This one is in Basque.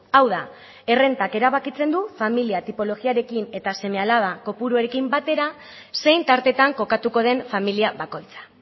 hau da errentak erabakitzen du familia tipologiarekin eta seme alaba kopuruekin batera zein tartetan kokatuko den familia bakoitza